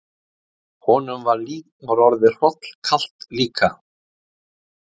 Honum var orðið hrollkalt líka.